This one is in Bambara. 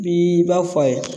Bii i b'a fɔ a ye